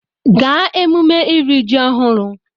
Gaa emume iri ji ọhụrụ!